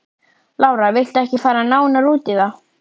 Lára: Viltu ekki fara nánar út í það?